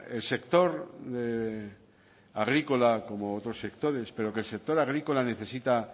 el sector agrícola como otros sectores pero que el sector agrícola necesita